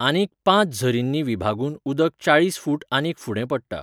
आनीक पांच झरींनी विभागून उदक चाळीस फूट आनीक फुडें पडटा.